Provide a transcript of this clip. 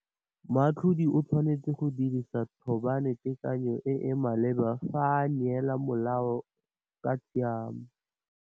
Moatlhodi o tshwanetse go dirisa thôbanetekany o e e maleba fa a neela molao ka tshiamo.